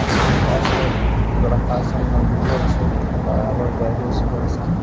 खास करी क आजकल लड़का सब नवयुवक सब यहाँ बराबर जाए छई सुबह शाम।